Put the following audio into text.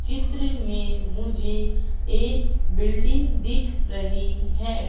चित्र में मुझे एक बिल्डिंग दिख रही है।